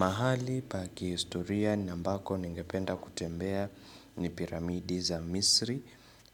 Mahali pa kihistoria na ambako ningependa kutembea ni piramidi za Misri